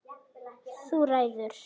Þú ræður!